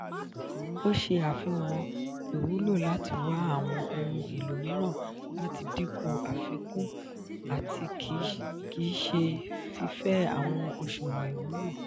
o ṣe afihan iwulo lati wa awọn ohun elo miiran lati dinku afikun ati kii ṣe fifẹ awọn oṣuwọn iwulo.